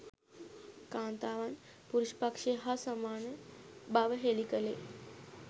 කාන්තාවන් පුරුෂ පක්‍ෂය හා සමාන බව හෙළි කළේ